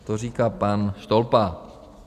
To říká pan Štolpa.